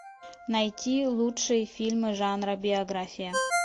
найти лучшие фильмы жанра биография